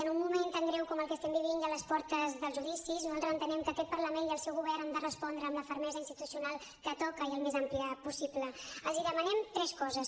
en un moment tan greu com el que estem vivint i a les portes dels judicis nosaltres entenem que aquest parlament i el seu govern han de respondre amb la fermesa institucional que toca i al més àmplia possible els demanem tres coses